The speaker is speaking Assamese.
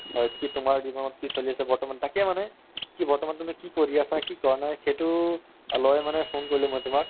হয় কি তুমাৰ জিৱনত কি চলি আছে মানে বৰ্তমান কি বৰ্তমান তুমি কি কৰি আছা কি কৰা নাই সেইটোলৈ মানে phone কৰিলো তুমাক